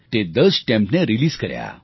તે 10 સ્ટેમ્પ્સને રીલીઝ કર્યા